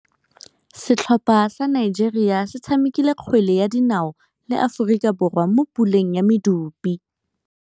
Setlhopha sa Nigeria se tshamekile kgwele ya dinaô le Aforika Borwa mo puleng ya medupe.